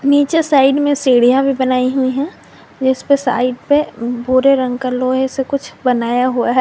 नीचे साइड में सीढ़ियां भी बनाई हुई हैं जिस पे साइड पे भूरा रंग का बनाया हुआ है।